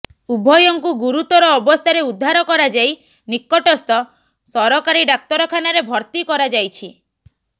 ଉଭୟଙ୍କୁ ଗୁରୁତର ଅବସ୍ଥାରେ ଉଦ୍ଧାର କରାଯାଇ ନିକଟସ୍ଥ ସରକାରୀ ଡାକ୍ତରଖାନାରେ ଭର୍ତ୍ତି କରାଯାଇଛି